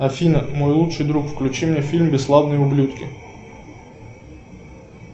афина мой лучший друг включи мне фильм бесславные ублюдки